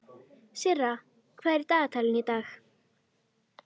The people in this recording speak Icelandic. Og velti fyrir mér hvar eigi að byrja.